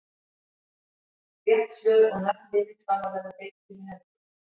Rétt svör og nöfn vinningshafa verða birt fyrir helgi.